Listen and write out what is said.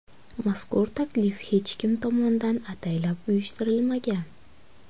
Mazkur taklif hech kim tomonidan ataylab uyushtirilmagan.